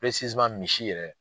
misi yɛrɛ.